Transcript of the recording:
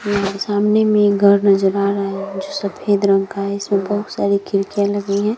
सामने में एक घर नज़र आ रहा है जो सफ़ेद रंग का है इसमें बहुत सारी खिड़कियाँ लगी है।